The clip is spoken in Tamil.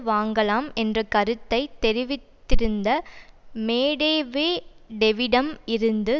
வாங்கலாம் என்ற கருத்தை தெரிவித்திருந்த மேடெவேடெவிடம் இருந்து